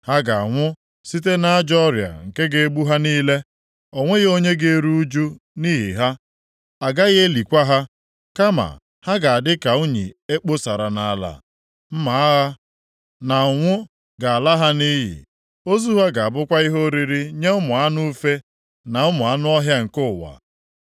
“Ha ga-anwụ site nʼajọ ọrịa nke ga-egbu ha niile. O nweghị onye ga-eru ụjụ nʼihi ha, a gaghị elikwa ha. Kama ha ga-adị ka unyi e kposara nʼala. Mma agha na ụnwụ ga-ala ha nʼiyi, ozu ha ga-abụkwa ihe oriri nye ụmụ anụ ufe na ụmụ anụ ọhịa nke ụwa.”